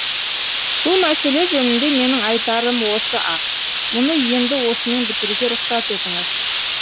бұл мәселе жөнінде менің айтарым осы ақ мұны енді осымен бітіруге рұқсат етіңіз